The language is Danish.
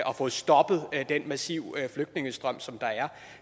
og fået stoppet den massive flygtningestrøm som